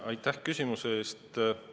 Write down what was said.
Aitäh küsimuse eest!